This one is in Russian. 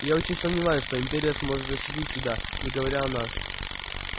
я очень сомневаюсь что империя сможет защитить себя не говоря о нас